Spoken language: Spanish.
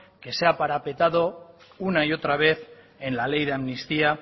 que se ha parapetado una y otra vez en la ley de amnistía